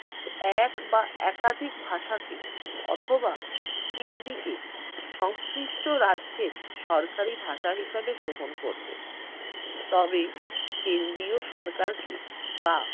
এক বা একাধিক ভাষাকে অথবা হিন্দিকে সংশ্লিষ্ট রাজ্যের সরকারি ভাষা হিসেবে গ্রহ করবে তবে কেন্দ্রীয় সরকারকে বা